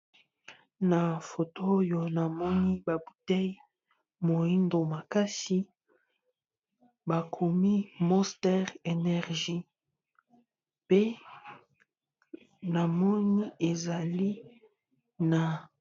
Na foto oyo na moni ba boutelle moyindo makasi, ba komi Monster energie pe na moni ezali na...